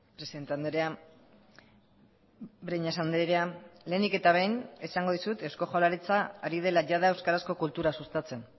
presidente andrea breñas andrea lehenik eta behin esango dizut eusko jaurlaritza ari dela jada euskarazko kultura sustatzen